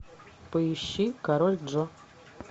поищи король джо